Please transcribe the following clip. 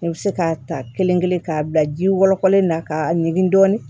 I bɛ se k'a ta kelen kelen k'a bila ji wɔlɔkɔlen na k'a ɲini dɔɔnin